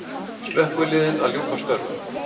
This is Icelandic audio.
Slökkviliðin að ljúka störfum